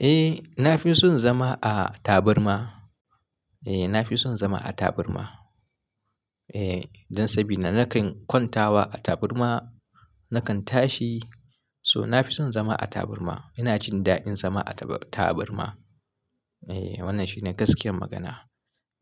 Eh, na fi son zama a taburma. Eh, na fi son zama a taburma. Eh, don sabida nakan kwantawa a taburma, nakan tashi, so na fi son zama a taburma. Ina jin daɗin zama a taburma. Eh, wannan shine gaskiyar magana.